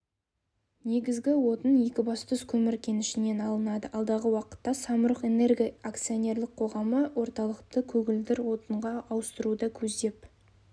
негізгі отын екібастұз көмір кенішінен алынады алдағы уақытта самұрық-энерго ақционерлік қоғамы орталықты көгілдір отынға ауыстыруды көздеп